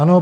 Ano.